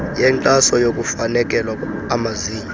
yenkxaso yokufakelwa amazinyo